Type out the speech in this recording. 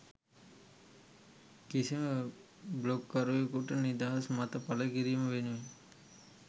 කිසිම බ්ලොග්කරුවකුට නිදහස් මත පළ කිරීම වෙනුවෙන්